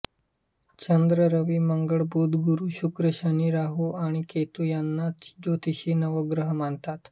चंद्र रवि मंगळ बुध गुरु शुक्र शनी राहू आणि केतू यांनाच ज्योतिषी नवग्रह मानतात